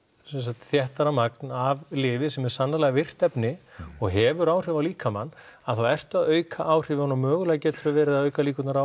sem sagt þéttara magn af lyfi sem er sannarlega virkt efni og hefur áhrif á líkamann að þá ertu að auka áhrifin og mögulega geturðu verið að auka líkurnar á